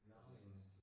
Nåh okay